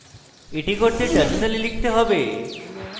এটি করতে terminal লিখতে হবে: